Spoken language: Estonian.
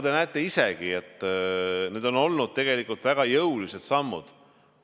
Te näete isegi, need on olnud väga jõulised sammud.